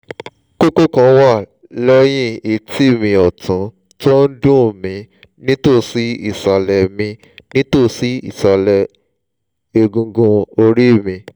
kókó kan wà lẹ́yìn etí mi ọ̀tún tó ń duùn mí nítòsí ìsàlẹ̀ mí nítòsí ìsàlẹ̀ egungun orí mi